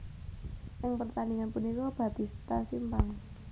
Ing pertandingan punika Batista simpang